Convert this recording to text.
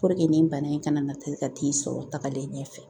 nin bana in kana nataa ka t'i sɔrɔ tagalen ɲɛ fɛ.